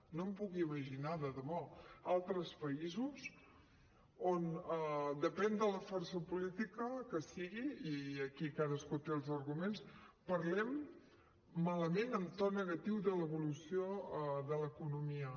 no em puc imaginar de debò altres països on depèn de la força política que sigui i aquí cadascú té els arguments parlem malament en to negatiu de l’evolució de l’economia